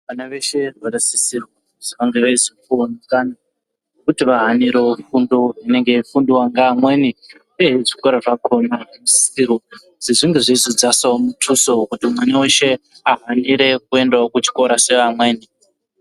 Vana veshe vanosisirwa kuti vange veizopuvavo mukana vekuti vahanirevo fundo inenge yeifundwavo nevamweni, uyezve zvikora zvakona zvinosisirwa kuti zvinge zveizodzasavo mutuso kuti mwana veshe ahanirevo kuendavo kuchikora sevamweni.